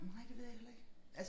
Nej det ved jeg heller ikke